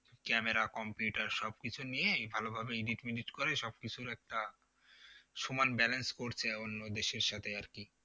Camera computer সব কিছু নিয়েই ভালোভাবে edit মেডিট করে সবকিছুর একটা সমান balance করছে অন্য দেশের সাথে আর কি